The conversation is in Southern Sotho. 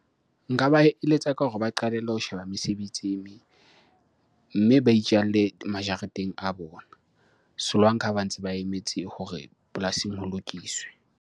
Nka ba eletsa ka hore ba qalelle ho sheba mesebetsi e meng. Mme ba itjalle majareteng a bona solanka ha ba ntse ba emetse hore polasing ho lokiswe.